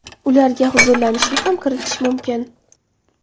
Ularga huzurlanishni ham kiritish mumkin.